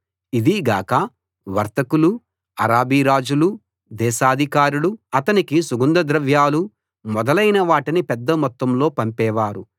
ఇది గాక వర్తకులూ అరబి రాజులూ దేశాధికారులూ అతనికి సుగంధ ద్రవ్యాలు మొదలైన వాటిని పెద్ద మొత్తంలో పంపేవారు